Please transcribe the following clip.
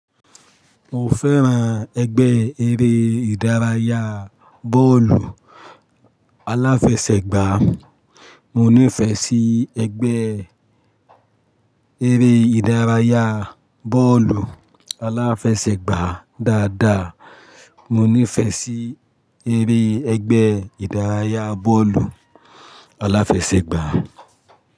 Mo fẹ́ran ẹgbẹ́ eré ìdárayá bọ́ọ̀lù aláfẹsẹ̀gbá. Mo nífẹẹ sí ẹgbẹ́ eré ìdárayá bọ́ọ̀lù aláfẹsẹ̀gbá dáadáa. Mo nífẹẹ sí eré ẹgbẹ́ ìdárayá bọ́ọ̀lù aláfẹsẹ̀gbá.